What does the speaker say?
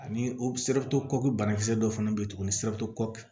Ani siradɔgɔkɔ banakisɛ dɔ fana bɛ yen tuguni